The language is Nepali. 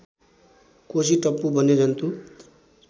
कोसी टप्पु वन्यजन्तु